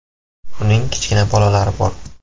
Uning kichkina bolalari bor.